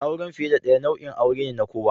Auren fiye da ɗaya nau'in aure ne na kowa.